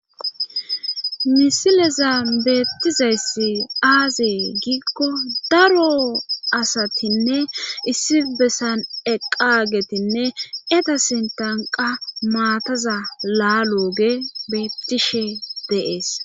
Misilezan beettizayssi aazee gikko daro asatinne issi bessan eqqagetinne eta sintanqa maataza laaloge beettishe deees.